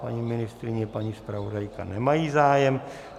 Paní ministryně, paní zpravodajka - nemají zájem.